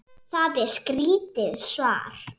Það er skrítið svar.